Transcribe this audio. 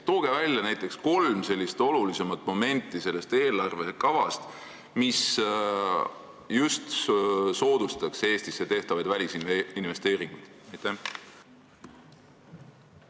Tooge välja näiteks kolm olulisemat momenti selles eelarvekavas, mis soodustavad Eestisse välisinvesteeringute tegemist!